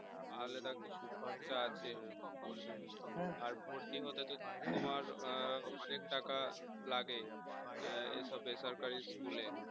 আলাদা কিছু খরচা আছে হ্যাঁ আর ভর্তি হতে তো তোমার অনেক টাকা লাগে হম এসব বেসরকারি school এ